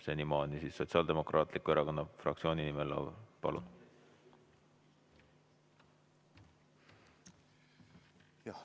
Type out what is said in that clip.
Senimaani Sotsiaaldemokraatliku Erakonna fraktsiooni nimel Lauri Läänemets, palun!